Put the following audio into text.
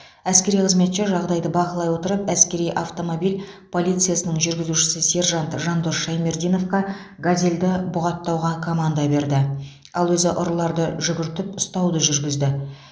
әскери қызметші жағдайды бақылай отырып әскери автомобиль полициясының жүргізушісі сержант жандос шаймердиновқа газелді бұғаттауға команда берді ал өзі ұрыларды жүгіртіп ұстауды жүргізді